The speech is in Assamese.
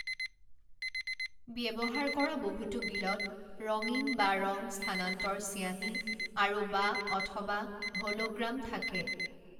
ব্যৱহাৰ কৰা বহুতো বিলত ৰঙীন বা ৰঙ-স্থানান্তৰ চিয়াঁহী আৰু বা অথবা হলোগ্ৰাম থাকে।